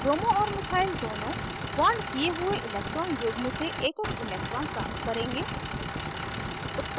bromo और methyl दोनों bonded किये हुए electron युग्म से एकएक electron प्राप्त करेंगे